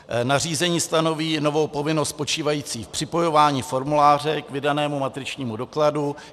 Nařízení stanoví novou povinnost spočívající v připojování formuláře k vydanému matričnímu dokladu.